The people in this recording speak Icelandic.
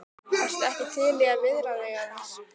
Ertu ekki til í að viðra þig aðeins?